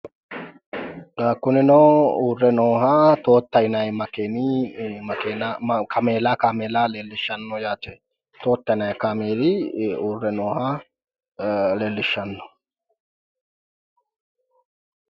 Kunino uurre nooha Toyota yinayi makeeni kaameela leellishshannon yaate. Toota yinayi kaameela leelliahshanno.